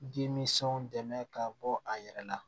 Denmisɛnw dɛmɛ ka bɔ a yɛrɛ la